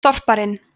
þorparinn